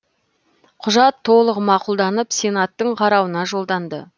құжат толық мақұлданып сенаттың қарауына жолданды